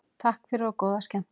Takk fyrir og góða skemmtun.